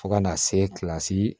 Fo ka na se kilasi